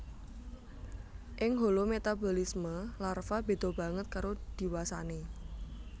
Ing holometabolisme larva béda banget karo diwasané